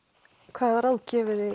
hvaða ráð